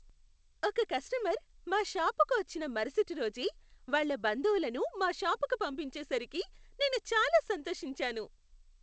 ఒక కస్టమర్ మా షాపుకి వచ్చిన మరుసటి రోజే వాళ్ళ బంధువులను మా షాపుకి పంపించేసరికి నేను చాలా సంతోషించాను.